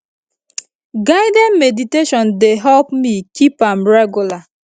guided meditation dey help me keep am regular